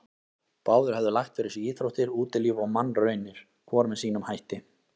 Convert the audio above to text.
Báðir höfðu lagt fyrir sig íþróttir, útilíf og mannraunir, hvor með sínum hætti.